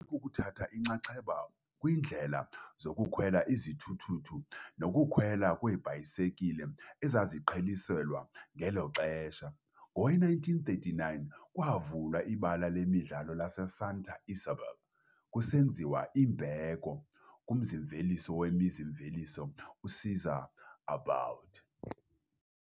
kukuthatha inxaxheba kwiindlela zokukhwela izithuthuthu nokukhwela kweebhayisekile, ezaziqheliselwa ngelo xesha. Ngowe-1939 kwavulwa iBala Lemidlalo laseSanta Isabel, kusenziwa imbeko kumzi-mveliso wemizi-mveliso uCésar Aboud.